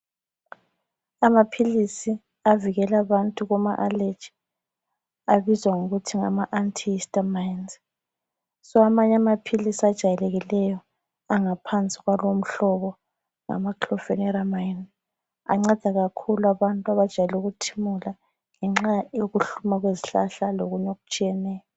Amaphilisi avikela abantu kuma allergy abizwa ngokuthi ngama antihistamines. So amanye amaphilisi ajayekileyo angaphansi komhlobo ngama chloforolamine anceda kakhulu abantu abajayele ukuthimula ngenxa yokuhluma kwezihlahla lokunye okutshiyeneyo.